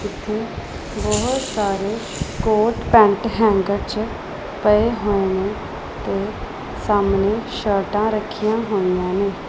ਇੱਥੇ ਬਹੁਤ ਸਾਰੇ ਕੋਟ ਪੈਂਟ ਹੈਂਗਰ 'ਚ ਪਏ ਹੋਏ ਨੇ ਤੇ ਸਾਹਮਣੇ ਸ਼ਰਟਾਂ ਰੱਖੀਆਂ ਹੋਈਆਂ ਨੇ।